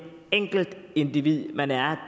enkeltindivid man er